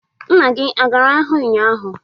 Nna gị agara ahịa ụnyaahụ?